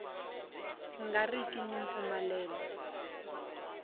nga ri ki ni mpfumelelo